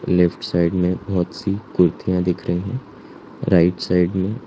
left side में बहोत सी कुर्तियां दिख रही हैं राइट साइड में--